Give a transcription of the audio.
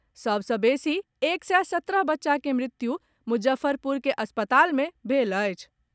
सभ सॅ बेसी एक सय सत्रह बच्चा के मृत्यु मुजफ्फरपुर के अस्पताल मे भेल अछि।